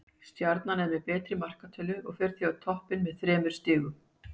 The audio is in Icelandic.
Stjarnan er með betri markatölu og fer því á toppinn með þremur stigum.